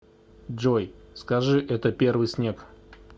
джой скажи это первый снег